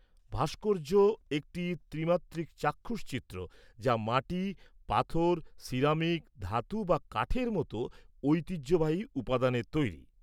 -ভাস্কর্য একটি ত্রিমাত্রিক চাক্ষুষ চিত্র যা মাটি, পাথর, সিরামিক, ধাতু বা কাঠের মতো ঐতিহ্যবাহী উপাদানের তৈরি।